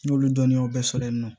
N y'olu dɔnniyaw bɛɛ sɔrɔ yen nɔ